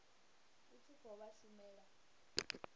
u tshi khou vha shumela